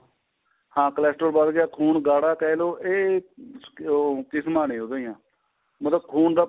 ਹਨ cholesterol ਵੱਧ ਗਿਆ ਖੂਨ ਗਾੜਾ ਕਹਿਲੋ ਇਹ ਅਹ ਉਹ ਕਿਸਮਾਂ ਨੇ ਉਹਦੀਆਂ ਮਤਲਬ ਖੂਨ ਦਾ